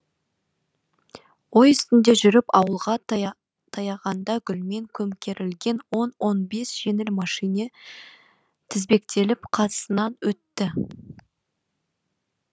ой үстінде жүріп ауылға таяғанда гүлмен көмкерілген он он бес жеңіл мәшине тізбектеліп қасынан өтті